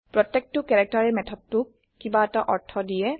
প্ৰত্যেকটা কেৰেক্টাৰে মেথডটোক কিবা এটা অৰ্থ দিয়ে